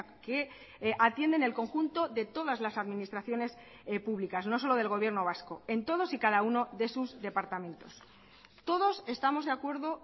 que atienden el conjunto de todas las administraciones públicas no solo del gobierno vasco en todos y cada uno de sus departamentos todos estamos de acuerdo